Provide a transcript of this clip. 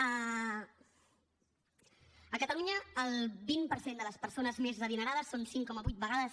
a catalunya el vint per cent de les persones més adinerades són cinc coma vuit vegades